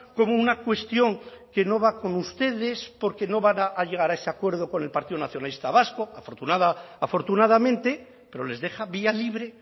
como una cuestión que no va con ustedes porque no van a llegar a ese acuerdo con el partido nacionalista vasco afortunadamente pero les deja vía libre